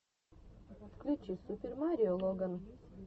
включи супер марио логан